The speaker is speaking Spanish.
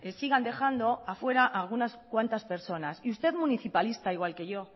sigan dejando afuera algunas cuantas personas y usted municipalista igual que yo